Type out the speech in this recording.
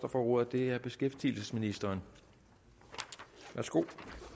får ordet er beskæftigelsesministeren værsgo